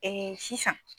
sisan